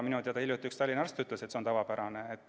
Minu teada hiljuti üks Tallinna arstki ütles, et see on tavapärane.